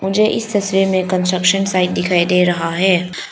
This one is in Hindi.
मुझे इस तस्वीर में कंस्ट्रक्शन साइट दिखाई दे रहा है।